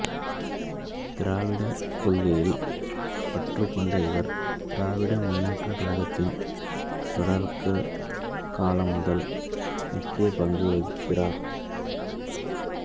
திராவிடக் கொள்கையில் பற்றுக் கொண்ட இவர் திராவிட முன்னேற்றக் கழகத்தின் தொடக்கக் காலம் முதல் முக்கிய பங்கு வகிக்கின்றார்